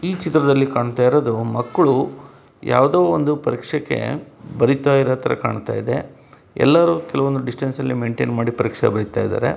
ಈ ಚಿತ್ರದಲ್ಲಿ ಕಾಣ್ತ ಇರೋದು ಮಕ್ಕಳು ಯಾವ್ದೋ ಒಂದು ಪರೀಕ್ಷೆ ಕೆ ಬರೀತಾ ಇರೋ ಥರ ಕಾಣ್ತಾಇದೆ ಎಲ್ಲಾರು ಕೆಲ ಒಂದು ಡಿಸ್ಟೆನ್ಸ್ ಅಲ್ಲಿ ಮೈನ್ಟೈನ್ ಮಾಡಿ ಪರೀಕ್ಷೆ ಬರೀತಾಯಿದಾರೆ.